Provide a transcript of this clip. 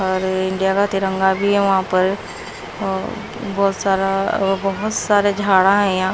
India का तिरंगा भी है वहां पर और बहुत सारा बहुत सारे झाड़ा है।